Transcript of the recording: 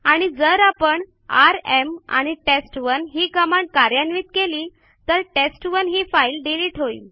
आणि जर आपण आरएम आणि टेस्ट1 ही कमांड कार्यान्वित केली तर टेस्ट1 ही फाईल डिलिट होईल